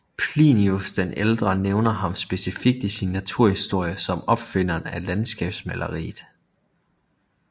Plinius den ældre nævner ham specifikt i sin naturhistorie som opfinderen af landskabsmaleriet